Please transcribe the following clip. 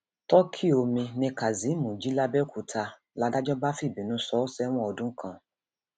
tọkì omi ni kazeem jí làbẹòkúta làdájọ bá fìbínú sọ ọ sẹwọn ọdún kan